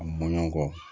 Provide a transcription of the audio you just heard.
A mɔɲɔkɔ